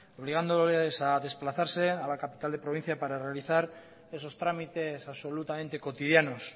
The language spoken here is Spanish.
obligándoles a desplazarse a la capital de provincia para realizar esos trámites absolutamente cotidianos